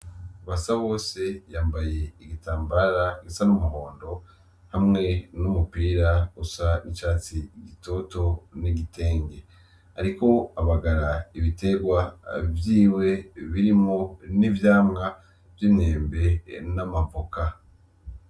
Basa wose yambaye igitambara gisa n'umuhondo hamwe n'umupira usa icatsi gitoto n'igitenge, ariko abagara ibiterwa vyiwe birimo n'ivyamwa vy'intembe n'amavoka.